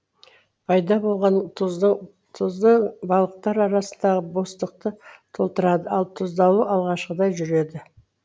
пайда болған тұздың балықтар арасындағы бостықты толтырады ал тұздалу алғашқыдай жүреді